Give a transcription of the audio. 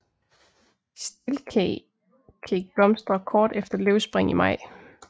Stilkeg blomstrer kort efter løvspring i maj